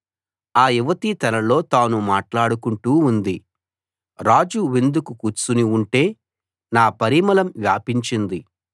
ఆ యువతి తనలో తాను మాట్లాడుకుంటూ ఉంది రాజు విందుకు కూర్చుని ఉంటే నా పరిమళం వ్యాపించింది